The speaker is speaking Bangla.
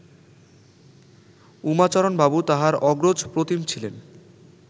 উমাচরণবাবু তাঁহার অগ্রজপ্রতিম ছিলেন